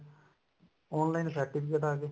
online certificate ਆ ਗਏ